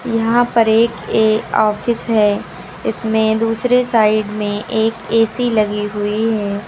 यहां पर एक ए ऑफिस है इसमें दूसरे साइड में एक ए_सी लगी हुई है।